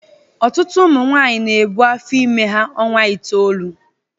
Ọtụtụ ụmụ nwaanyị na-ebu afọ ime ha ọnwa itoolu.